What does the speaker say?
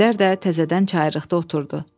Əjdər də təzədən çayırrıqda oturdu.